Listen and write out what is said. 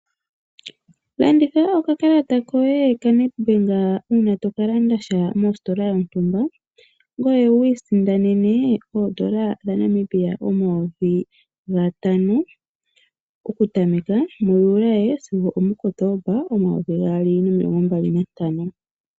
Longitha Oka kalata koye ka NetBank uuna toka landasha mositola yontumba. Ngoye wu isindanene oodola dha Namibia omayovi ga tano oku tameka mu Juli sigo omu Kotooba 2025.